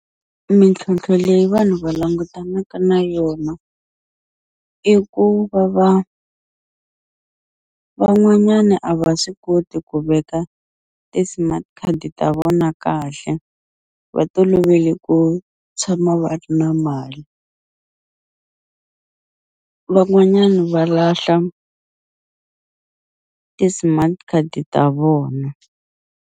Mintlhontlho leyi vanhu va langutanaka na yona i ku va va van'wanyani a va swi koti ku veka ti-smart card ta vona kahle va tolovele ku tshama va ri na mali van'wanyani va lahla ti-smart card ta vona.